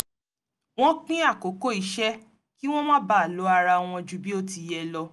wọ́n pín àkókò iṣẹ́ kí wọ́n má baà lo ara wọn ju bí ó ti yẹ lo